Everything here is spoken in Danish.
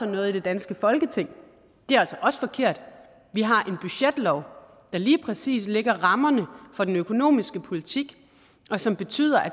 noget i det danske folketing det er altså også forkert vi har en budgetlov der lige præcis lægger rammerne for den økonomiske politik og som betyder at